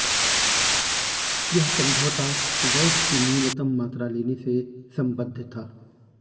यह समझौता गैस की न्यूनतम मात्रा लेने से संबध्द था